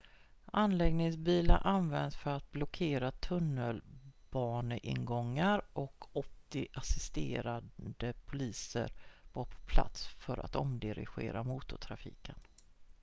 anläggningsbilar användes för att blockera tunnelbaneingångar och 80 assisterande poliser var på plats för att omdirigera motortrafiken